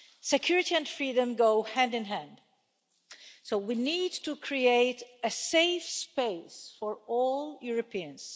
Security and freedom go hand in hand, so we need to create a safe space for all Europeans.